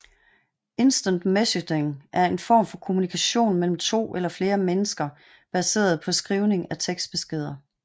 Instant messaging er en form for kommunikation mellem to eller flere mennesker baseret på skrivning af tekstbeskeder